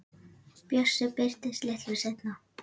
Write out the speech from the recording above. Bjössi birtist litlu seinna.